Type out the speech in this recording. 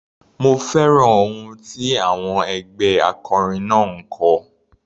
Mo fẹ́ràn ohùn tí àwọn ẹgbẹ́ akọrin náà ń kọ.